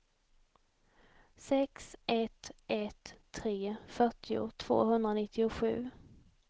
sex ett ett tre fyrtio tvåhundranittiosju